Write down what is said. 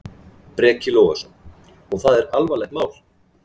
Breki Logason: Og það er alvarlegt mál?